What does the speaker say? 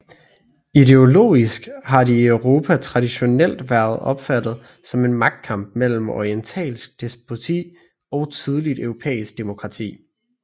Ideologisk har de i Europa traditionelt været opfattet som en magtkamp mellem orientalsk despoti og tidligt europæisk demokrati